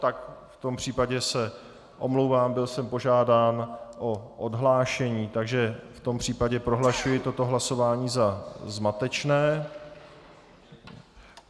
Tak v tom případě se omlouvám, byl jsem požádán o odhlášení, takže v tom případě prohlašuji toto hlasování za zmatečné.